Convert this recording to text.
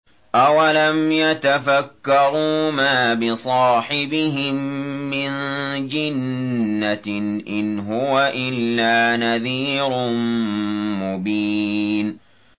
أَوَلَمْ يَتَفَكَّرُوا ۗ مَا بِصَاحِبِهِم مِّن جِنَّةٍ ۚ إِنْ هُوَ إِلَّا نَذِيرٌ مُّبِينٌ